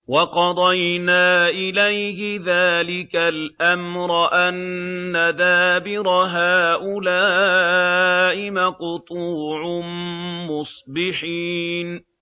وَقَضَيْنَا إِلَيْهِ ذَٰلِكَ الْأَمْرَ أَنَّ دَابِرَ هَٰؤُلَاءِ مَقْطُوعٌ مُّصْبِحِينَ